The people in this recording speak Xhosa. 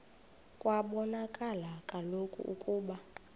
kwabonakala kaloku ukuba